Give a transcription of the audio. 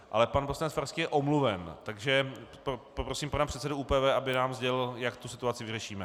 Ale pan poslanec Farský je omluven, takže poprosím pana předsedu ÚPV, aby nám sdělil, jak tu situaci vyřešíme.